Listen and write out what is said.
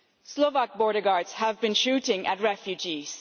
Slovak border guards have been shooting at refugees